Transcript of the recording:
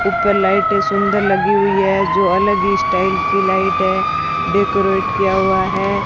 ऊपर लाइटें सुंदर लगी हुई है जो अलग स्टाइल की लाइट है डेकोरेट किया हुआ है।